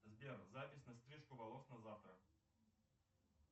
сбер запись на стрижку волос на завтра